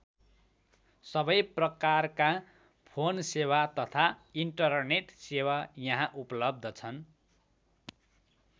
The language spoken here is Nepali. सबै प्रकारका फोन सेवा तथा इन्टरनेट सेवा यहाँ उपलब्ध छन्।